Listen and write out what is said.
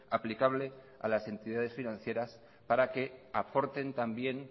aplicable a las entidades financieras para que aporten también